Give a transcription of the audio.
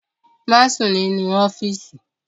Má sùn nínú ọ́fíìsì!